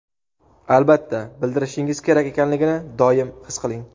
albatta bildirishingiz kerak ekanligini doim his qiling.